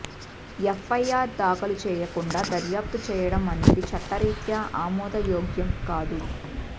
FIR దాఖలు చేయకుండా దర్యాప్తు చేయడం అనేది చట్టరీత్యా ఆమోదయోగ్యం కాదు